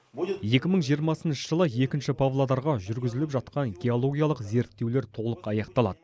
екі мың жиырмасыншы жылы екінші павлодарға жүргізіліп жатқан геологиялық зерттеулер толық аяқталады